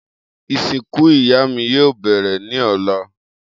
Isinku iya mi yoo bẹrẹ ni ọla.